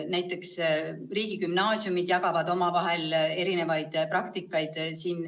Näiteks riigigümnaasiumid jagavad omavahel erinevaid praktikaid.